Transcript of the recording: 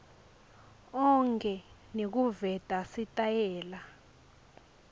onkhe nekuveta sitayela